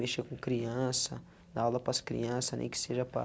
Mexer com criança, dar aula para as crianças, nem que seja para